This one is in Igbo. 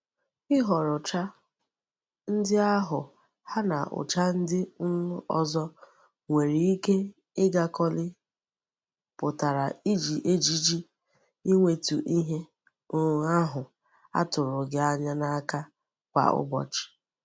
Ihoro ucha ndi ahu ha na ucha ndi um ozo nwere ike igakoli putara iji ejiji inwetu ihe um ahu a turu gi anya n'aka Kwa ubochi.